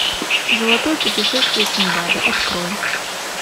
золотое путешествие синдбада открой